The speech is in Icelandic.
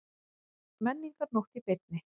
Menningarnótt í beinni